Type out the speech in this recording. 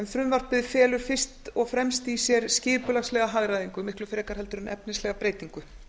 frumvarpið felur fyrst og fremst í sér skipulagslega hagræðingu miklu frekar en efnislega breytingu